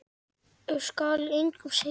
Skal engum segja.